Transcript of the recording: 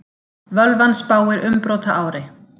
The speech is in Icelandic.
Völvan spáir umbrotaári